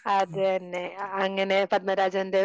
അത് തന്നെ. അങ്ങനെ പദ്മരാജൻറ്‍റെ